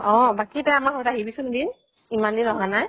অহ বাকী তই আমাৰ আহিবি চোন এদিন, ইমান দিন অহা নাই।